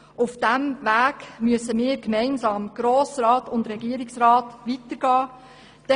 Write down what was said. Auf diesem Weg müssen wir, der Grosse Rat und der Regierungsrat, gemeinsam weitergehen.